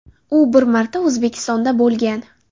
U bir marta O‘zbekistonda bo‘lgan.